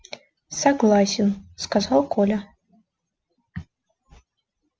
согласен сказал коля